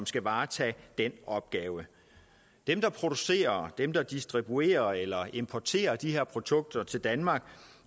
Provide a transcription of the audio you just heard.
skal varetage den opgave dem der producerer dem der distribuerer eller importerer de her produkter til danmark